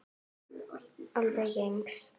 Alveg eins!